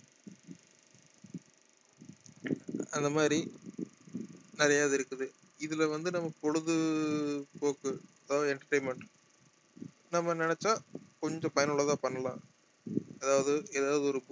அந்த மாதிரி நிறைய இது இருக்குது இதுல வந்து நமக்கு பொழுதுபோக்கு அதாவது entertainment நம்ம நினைச்சா கொஞ்சம் பயனுள்ளதா பண்ணலாம் அதாவது ஏதாவது ஒரு